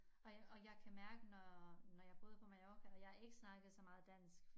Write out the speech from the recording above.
Og og jeg kan mærke når når jeg boede på Mallorca og jeg ikke snakkede så meget dansk